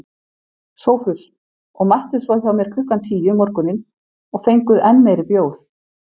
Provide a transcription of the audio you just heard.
SOPHUS: Og mættuð svo hjá mér klukkan tíu um morguninn og fenguð enn meiri bjór.